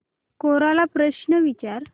कोरा ला प्रश्न विचार